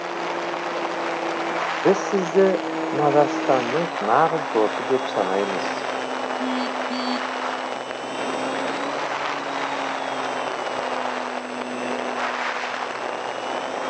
біз сізді мажарстанның нағыз досы деп санаймыз